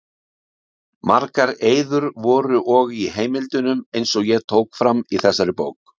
Margar eyður voru og í heimildunum, eins og ég tók fram í þessari bók.